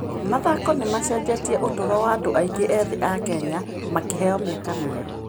Mathako nĩ macenjetie ũtũũro wa andũ aingĩ ethĩ a Kenya, makĩheo mĩeke mĩerũ.